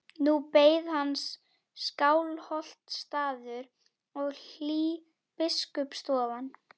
Nú beið hans Skálholtsstaður og hlý biskupsstofan.